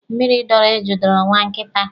Mmịrị dọọrọ eju dọọrọ nwa nkịta.